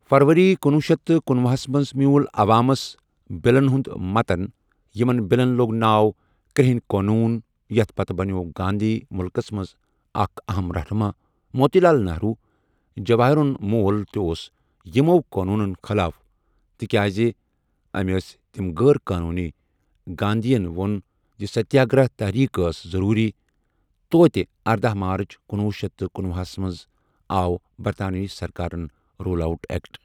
فَرؤری کُنۄہ شیتھ تہٕ کنوُہس مَنٛز میٛوٗل عَوامَس بِلَن ہُنٛد مَتَن یِمَن بِلَن لۆگ ناو کرُٛہٕنۍ قونوٗن یَتھ پَتہٕ بَنیٛوو گانٛدھی مُلکَس مَنٛز اَکھ اَہَم رَہنُما موتی لال نِہرو، جَواہرُن مول تہِ اوس یِمَو قونوٗنَن خٕلاف، تِکیٛازِ أمۍ ٲسۍ تِم غٲر قونوٗنی گانٛدھیَن وۆن زِ سَتیٛاگرَہ تٔحریٖک أس ضۆروٗری توتہِ اردہَ مارٕچ کُنۄہ شیتھ تہٕ کنوہَس آو بَرطٲنوی سَرکارَن رولَٹ اؠکٹ۔